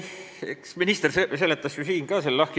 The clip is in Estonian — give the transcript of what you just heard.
Eks minister seletas selle ju ka siin lahti.